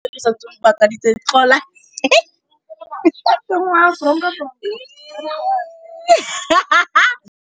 Go itumela ke tsela ya tlhapolisô e e dirisitsweng ke Aforika Borwa ya Bosetšhaba.